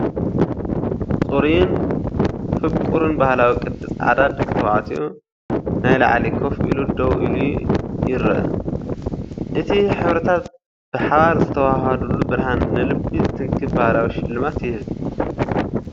ጽሩይን ፍቑርን ባህላዊ ቅዲ ጻዕዳ ደቂ ተባዕትዮ ናይ ላዕሊ ኮፍ ኢሉ ደው ኢሉ ይረአ። እቲ ሕብርታት ብሓባር ዝወሃሃዱሉ ብርሃን ንልቢ ዝትንክፍ ባህላዊ ሽልማት ይህብ።